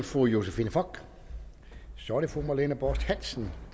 fru josephine fock så er det fru marlene borst hansen